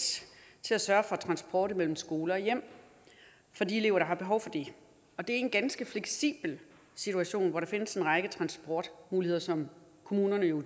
til at sørge for transport mellem skole og hjem for de elever der har behov for det og det er en ganske fleksibel situation hvor der findes en række transportmuligheder som kommunerne jo